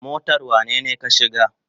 Motar wanene ka shiga?